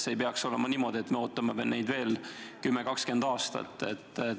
Ei peaks olema niimoodi, et me ootame neid veel 10–20 aastat.